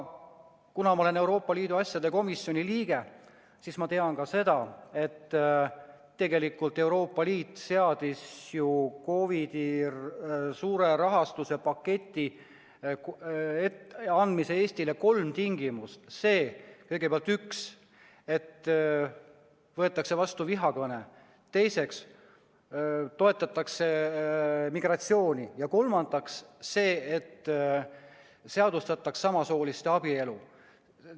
Kuna ma olen Euroopa Liidu asjade komisjoni liige, siis ma tean ka seda, et tegelikult seadis Euroopa Liit COVID-iga seotud suure rahastuspaketi andmise kohta Eestile kolm tingimust: kõigepealt, esiteks see, et võetakse vastu vihakõneseadus; teiseks see, et toetatakse migratsiooni; ja kolmandaks see, et seadustataks samasooliste abielu.